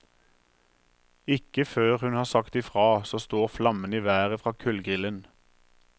Ikke før hun har sagt i fra, så står flammene i været fra kullgrillen.